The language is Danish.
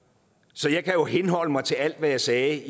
så jeg kan jo henholde mig til alt hvad jeg sagde